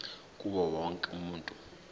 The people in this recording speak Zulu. kuwo wonke umuntu